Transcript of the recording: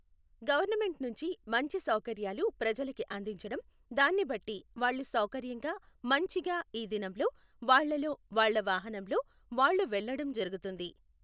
government నుంచి మంచి సౌకర్యాలు ప్రజలకి అందించడం, దాన్ని బట్టి వాళ్ళు సౌకర్యంగా మంచిగా ఈ దినంలో వాళ్లలో వాళ్ళ వాహనంలో వాళ్ళు వెళ్ళడం జరుగుతుంది